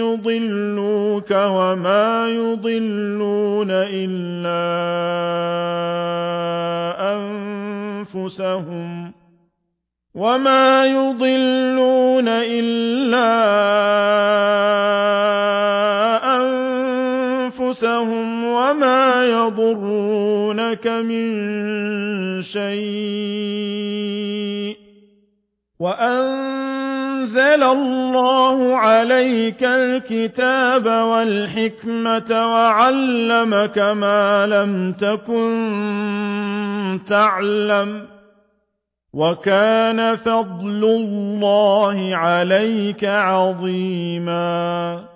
يُضِلُّوكَ وَمَا يُضِلُّونَ إِلَّا أَنفُسَهُمْ ۖ وَمَا يَضُرُّونَكَ مِن شَيْءٍ ۚ وَأَنزَلَ اللَّهُ عَلَيْكَ الْكِتَابَ وَالْحِكْمَةَ وَعَلَّمَكَ مَا لَمْ تَكُن تَعْلَمُ ۚ وَكَانَ فَضْلُ اللَّهِ عَلَيْكَ عَظِيمًا